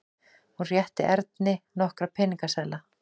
Hún rétti Erni nokkra peningaseðla.